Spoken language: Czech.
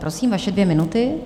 Prosím, vaše dvě minuty.